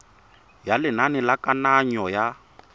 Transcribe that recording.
ya lenane la kananyo ya